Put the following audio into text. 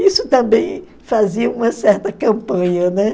Isso também fazia uma certa campanha, né?